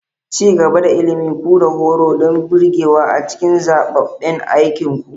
Ci gaba da ilimin ku da horo don birgewa a cikin zaɓaɓɓen aikinku.